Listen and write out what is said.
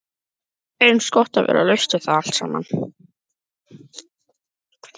Eins gott að vera laus við það allt saman.